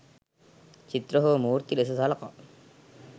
චිත්‍ර හෝ මූර්ති ලෙස සලකා.